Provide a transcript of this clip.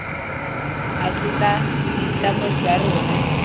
a tlotla boitlamo jwa rona